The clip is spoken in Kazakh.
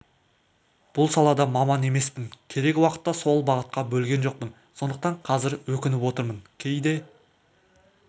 бұл салада маман емеспін керек уақытта сол бағытқа бөлген жоқпын сондықтан қазір өкініп отырмын кейде